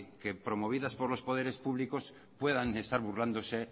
que promovidas por los poderes públicos puedan estar burlándose